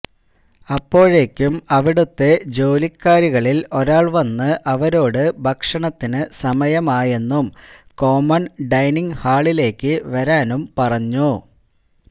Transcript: അപ്പോഴേക്കും അവിടുത്തെ ജോലിക്കാരികളിൽ ഒരാൾ വന്ന് അവരോട് ഭക്ഷണത്തിനു സമയം ആയെന്നും കോമൺ ഡൈനിങ്ങ് ഹാളിലേക്ക് വരാനും പറഞ്ഞു